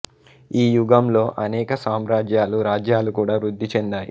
ఈ యుగంలో అనేక సామ్రాజ్యాలు రాజ్యాలు కూడా వృద్ధి చెందాయి